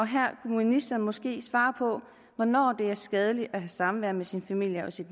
her kunne ministeren måske svare på hvornår det er skadeligt at have samvær med sin familie og sit